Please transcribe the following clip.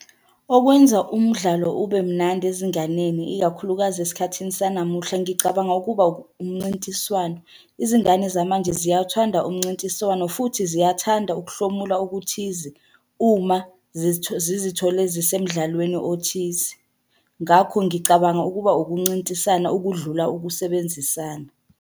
Okwenza umdlalo ube mnandi ezinganeni ikakhulukazi esikhathini sanamuhla ngicabanga ukuba umncintiswano. Izingane zamanje ziyawuthanda umncintiswano futhi ziyathanda ukuhlomula okuthize uma zizithole zisemdlalweni othize. Ngakho ngicabanga ukuba ukuncintisana ukudlula ukusebenzisana.